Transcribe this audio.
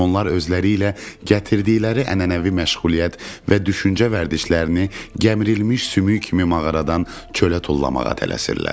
Onlar özləri ilə gətirdikləri ənənəvi məşğuliyyət və düşüncə vərdişlərini gəmirilmiş sümük kimi mağaradan çölə tullamağa tələsirlər.